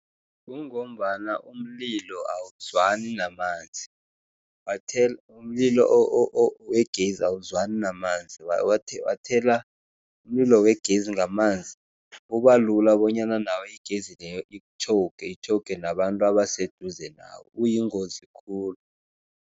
Kungombana umlilo awuzwani namanzi, umlilo wegezi awuzwani namanzi. Wathela umlilo wegezi ngamanzi, kubalula bonyana nawe igezi leyo ikutjhowuge, itjhowuge nabantu abaseduze nawe, uyingozi khulu.